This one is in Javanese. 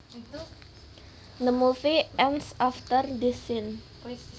The movie ends after this scene